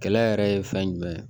Kɛlɛ yɛrɛ ye fɛn jumɛn ye